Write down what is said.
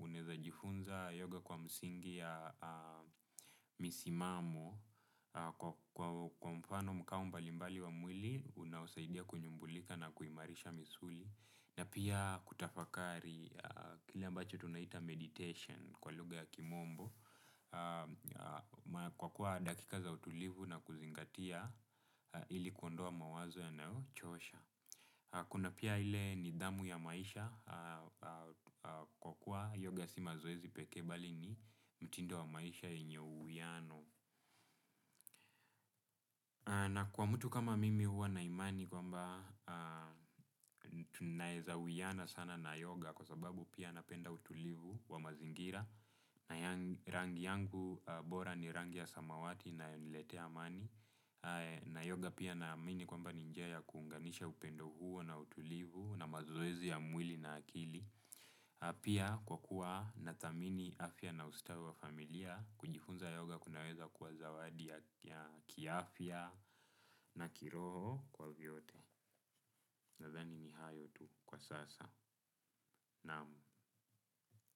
uneza jifunza yoga kwa misingi ya misimamo, kwa mfano mkambali mbali wa mwili, unausaidia kunyumbulika na kuimarisha misuli, na pia kutafakari kila mbache tunaita meditation kwa luga ya kimombo. Kwa kuwa dakika za utulivu na kuzingatia ili kuondoa mawazo yanayo chosha. Kuna pia ile nidhamu ya maisha kwa kuwa yoga si mazoezi pekee bali ni mtindo wa maisha yenye uwiano na kwa mtu kama mimi huwa na imani kwamba tunaweza uwiana sana na yoga kewa sababu pia napenda utulivu wa mazingira na rangi yangu bora ni rangi ya samawati inayoniletea amani na yoga pia na amini kwamba ni njia ya kuunganisha upendo huo na utulivu na mazoezi ya mwili na akili pia kwa kuwa na thamini afya na ustawi wa familia. Kujifunza yoga kunaweza kuwa zawadi ya kia afya na kiroho kwa vyote. Nadhani ni hayo tu kwa sasa, naam.